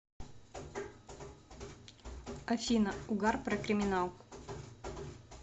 афина угар про криминал